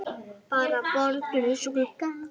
Bara borð, glös og glugga.